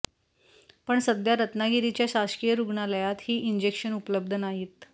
पण सध्या रत्नागिरीच्या शासकीय रुग्णालयात हि इंजेक्शन उपलब्ध नाहीत